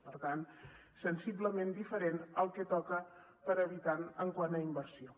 per tant sensiblement diferent al que toca per habitant quant a inversió